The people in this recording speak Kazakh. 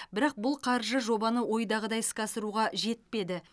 бірақ бұл қаржы жобаны ойдағыдай іске асыруға жетпеді